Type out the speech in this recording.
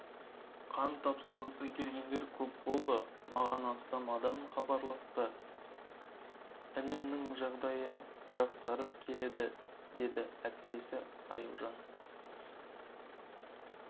қан тапсырғысы келгендер көп болды маған астам адам хабарласты інімнің жағдайы жақсарып келеді деді әпкесі аяужан